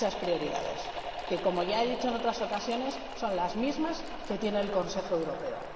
muchas prioridades que, como ya he dicho en otras ocasiones, son las mismas que tiene el Consejo Europeo.